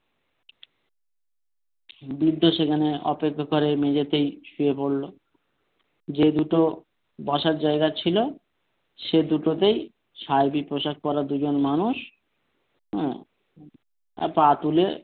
বৃদ্ধ সেখানে অপেক্ষা ঘরে মেঝেতেই শুয়ে পরলো যে দুটো বসার জায়গা ছিল সে দুটোতেই সাহেবি পোশাক পরা দুজন মানুষ হ্যাঁ পা তুলে,